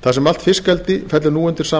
þar sem allt fiskeldi fellur nú undir sama